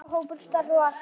Sá hópur starfar enn.